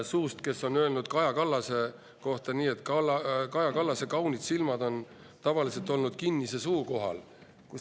… suust, kes on Kaja Kallase kohta öelnud, et "tema kaunid suured silmad on tavaliselt olnud kinnise suu kohal".